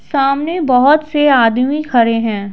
सामने बहुत से आदमी खड़े हैं।